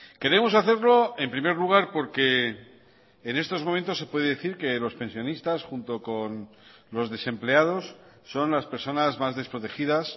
queremos hacerlo en primer lugar porque en estos momentos se puede decir que los pensionistas junto con los desempleados son las personas más desprotegidas